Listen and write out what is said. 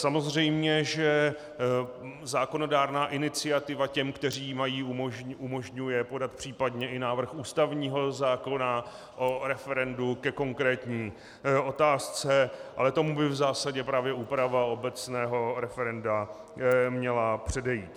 Samozřejmě že zákonodárná iniciativa těm, kteří ji mají, umožňuje podat případně i návrh ústavního zákona o referendu ke konkrétní otázce, ale tomu by v zásadě právě úprava obecného referenda měla předejít.